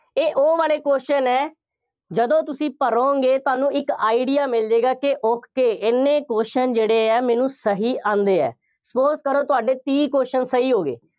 ਇਹ ਉਹ ਵਾਲੇ question ਹੈ, ਜਦੋਂ ਤੁਸੀਂ ਭਰੋਂਗੇ ਤਾਂ ਤੁਹਾਨੂੰ ਇੱਕ idea ਮਿਲ ਜਾਏਗਾ ਕਿ okay ਐਨੇ question ਜਿਹੜੇ ਆ, ਮੈਨੂੰ ਸਹੀ ਆਉਂਦੇ ਆ, suppose ਕਰੋ ਤੁਹਾਡੇ ਤੀਹ question ਸਹੀ ਹੋ ਗਏ।